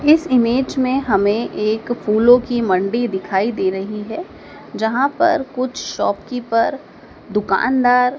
इस इमेज में हमें एक फूलों की मंडी दिखाई दे रही है जहां पर कुछ शॉप कीपर दुकान दार--